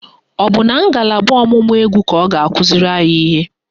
Ọ bụ na ngalaba ọ̀mụ̀mụ̀ égwú ka ọ ga-akụziri anyị ihe?